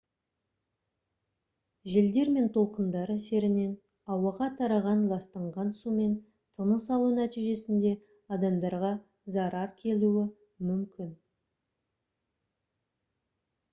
желдер мен толқындар әсерінен ауаға тараған ластанған сумен тыныс алу нәтижесінде адамдарға зарар келуі мүмкін